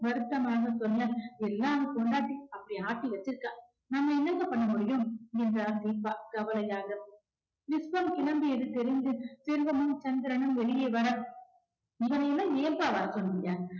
வருத்தமாக சொன்ன எல்லாம் அவன் பொண்டாட்டி அப்படி ஆக்கி வச்சிருக்கா நாம என்னங்க பண்ண முடியும் என்றார் தீபா கவலையாக விஸ்வம் கிளம்பியது தெரிந்து செல்வமும் சந்திரனும் வெளியே வர இவனை எல்லாம் ஏம்பா வர சொன்னிங்க?